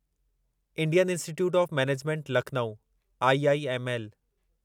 Indian Institute of Management Lucknow IIML